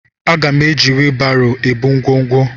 Aga m eji wibaro ebu ngwongwo.